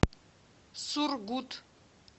сургут